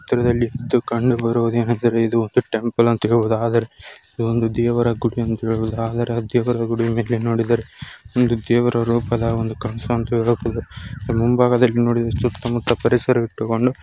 ಹತ್ತಿರದಲ್ಲಿ ಕಂಡು ಬರುವುದೇನೆಂದರೆ ಒಂದು ಟೆಂಪಲ್ ಅಂತ ಹೇಳ್ದಬುದು. ಆದರೆ ಇದೊಂದು ದೇವರ ಗುಡಿ ಅಂತ ಹೇಳ್ಬಹುದು .ಆದರೆ ಆ ದೇವರ ಗುಡಿಮೇಲೆ ನೋಡಿದರೆ ಒಂದು ದೇವರ ರೂಪದ ರೂಪದ ಮುಂಭಾಗದಲ್ಲಿ ನೋಡಿದರೆ ಸುತ್ತ ಮುತ್ತ ಪರಿಸರ ಇಟ್ಟುಕೊಂಡು--